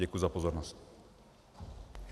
Děkuji za pozornost.